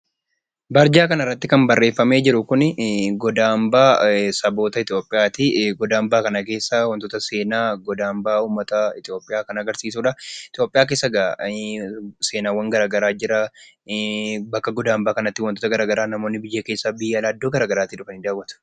Barjaa kanarratti kan barreeffamee jiru kuni goda hambaa saboota Itoophiyaati. Goda hambaa kana keessaa wantoota seenaa goda hambaa uummata Itoophiyaa kan agarsiisudha. Itoophiyaa keessa egaa seenaa adda addaatu jira. Namoonni biyya keessaa biyya alaa iddoo gara garaa keessaa dhufanii daawwatu.